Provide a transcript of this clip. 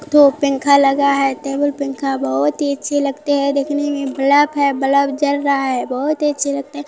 दो पेंखा लगा है टेबुल पेंखा बहुत ही अच्छी लगती है देखने मे बलब है बलब जल रहा है बहुत ही अच्छे लगती है।